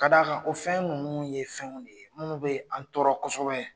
K'a d'a kan o fɛn ninnu ye fɛnw de ye minnu bɛ an tɔɔrɔ kosɛbɛ.